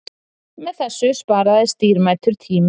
Með þessu sparaðist dýrmætur tími